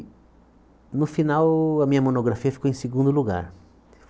No final, a minha monografia ficou em segundo lugar.